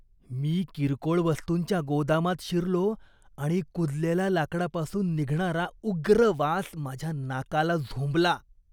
मी किरकोळ वस्तूंच्या गोदामात शिरलो आणि कुजलेल्या लाकडापासून निघणारा उग्र वास माझ्या नाकाला झोंबला.